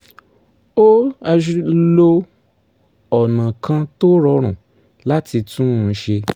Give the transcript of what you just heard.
ó lo ọ̀nà kan tó rọrùn láti tún un ṣe